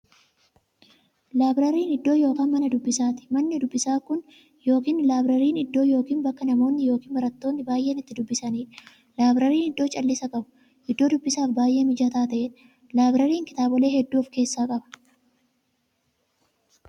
Laabrariin iddoo yookiin Mana dubbisaati. Manni dubbisaa Kun yookiin laabrariin iddoo yookiin bakka namoonni yookiin baratoonni baay'een itti dubbisaniidha. Laabrariin iddoo callisa qabu, iddoo dubbisaaf baay'ee mijataa ta'eedha. Laabrariin kitaabolee hedduu of keessaa qaba.